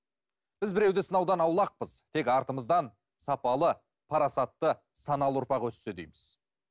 біз біреуді сынаудан аулақпыз тек артымыздан сапалы парасатты саналы ұрпақ өссе дейміз